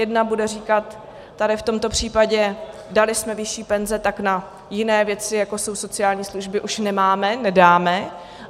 Jedna bude říkat: Tady v tomto případě, dali jsme vyšší penze, tak na jiné věci, jako jsou sociální služby, už nemáme, nedáme.